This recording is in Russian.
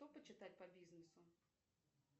что почитать по бизнесу